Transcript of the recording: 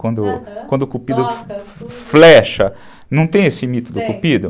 Quando, aham, quando o cupido flecha, não tem esse mito do cupido? Tem.